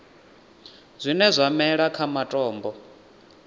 zwine zwa mela kha matombo